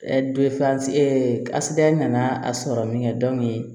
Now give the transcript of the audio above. nana a sɔrɔ min kɛ